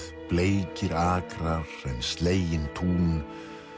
bleikir akrar en slegin tún